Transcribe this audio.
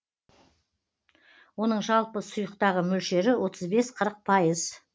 оның жалпы сұйықтағы мөлшері отыз бес қырық пайыз